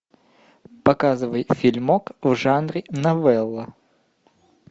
показывай фильмок в жанре новелла